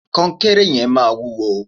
kọnkéré yẹn maa wuwo